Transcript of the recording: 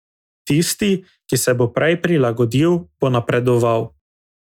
Tisti, ki se bo prej prilagodil, bo napredoval.